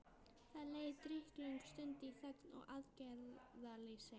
Það leið drykklöng stund í þögn og aðgerðaleysi.